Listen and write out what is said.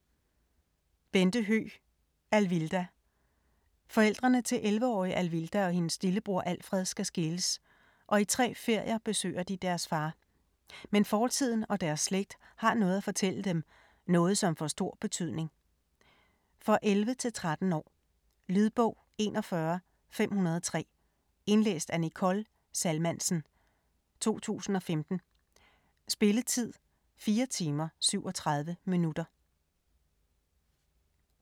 Høegh, Bente: Alvilda Forældrene til 11-årige Alvilda og hendes lillebror Alfred skal skilles, og i tre ferier besøger de deres far. Men fortiden og deres slægt har noget at fortælle dem, noget som får stor betydning. For 11-13 år. Lydbog 41503 Indlæst af Nicole Salmansen, 2015. Spilletid: 4 timer, 37 minutter.